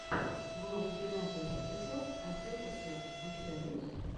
влог геннадия продекор отделка стен у тебя есть